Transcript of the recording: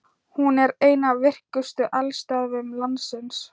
Hún er ein af virkustu eldstöðvum landsins.